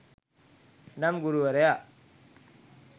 එනම් ගුරුවරයා